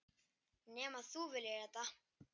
Nema þú viljir þetta?